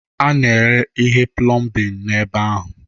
A na-ere ihe plọmbin n'ebe ahụ.